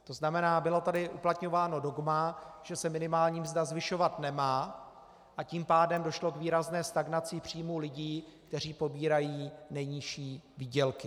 To znamená, bylo tady uplatňováno dogma, že se minimální mzda zvyšovat nemá, a tím pádem došlo k výrazné stagnaci příjmů lidí, kteří pobírají nejnižší výdělky.